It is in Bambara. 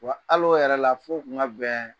Wa ali o yɛrɛ la, f'o kun ka bɛn